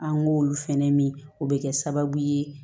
An k'olu fɛnɛ min o bɛ kɛ sababu ye